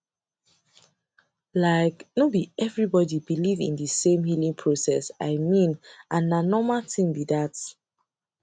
like no be everybody believe in the same healing process i mean and na normal tin be that